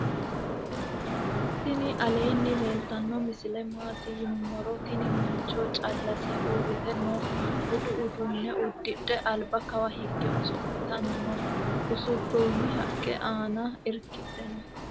tini aleni leltano misile mati yinumoro. tini mancho calase urite noo. buudu uduune udidhe alba kaawa hige ooso'litani noo. usuronni haqi anna irkidhe noo